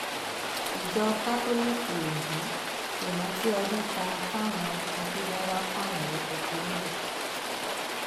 ìjọ kátólíìkì ondo ṣèrántí ọdún kan táwọn agbébọn wàá pààyàn rẹpẹtẹ níbẹ